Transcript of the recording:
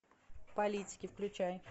политики включай